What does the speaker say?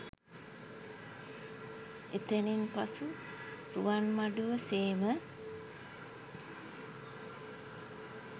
එතැනින් පසු රුවන්මඩුව සේම